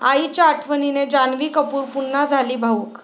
आईच्या आठवणीने जान्हवी कपूर पुन्हा झाली भावुक